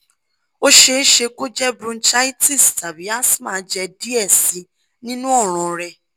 o ṣeeṣe ko je bronchitis tabi asthma jẹ diẹ sii ninu ọran rẹ